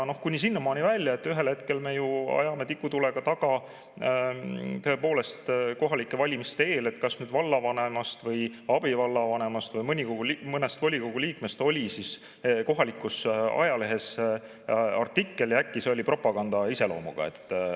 Kuni sinnamaani välja, et ühel hetkel me ajame kohalike valimiste eel tikutulega taga, et kas vallavanemast või abivallavanemast või mõnest volikogu liikmest oli kohalikus ajalehes artikkel ja äkki see oli propaganda iseloomuga.